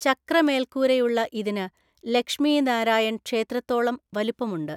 ചക്ര മേല്‍ക്കൂരയുള്ള ഇതിന് ലക്ഷ്മി നാരായൺ ക്ഷേത്രത്തോളം വലിപ്പമുണ്ട്.